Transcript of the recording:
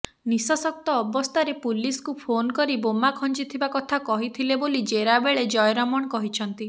ନିଶାସକ୍ତ ଅବସ୍ଥାରେ ପୁଲିସକୁ ଫୋନ୍ କରି ବୋମା ଖଞ୍ଜିଥିବା କଥା କହିଥିଲେ ବୋଲି ଜେରା ବେଳେ ଜୟରମଣ କହିଛନ୍ତି